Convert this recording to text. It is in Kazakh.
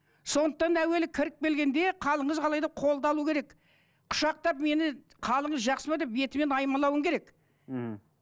сондықтан әуелі кіріп келгенде қалыңыз қалай деп қолды алу керек құшақтап мені қалыңыз жақсы ма деп бетіме аймалауың керек мхм